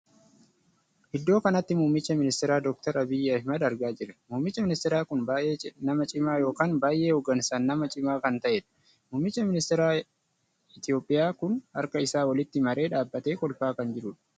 Iddoo kanatti muummichi ministeera dokteera Abiiy Ahmad argaa jira. muummichi ministeera kun baay'ee nama cimaa ykn baay'ee hoggaansaan nama cimaa kan taheedha. muummichi ministeera Itoophiyaa kun harka isaa walitti maree dhaabbatee kolfaa kan jirudha.